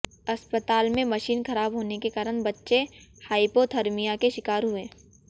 अस्पताल में मशीन खराब होने के कारण बच्चे हाइपोथर्मिया के शिकार हुए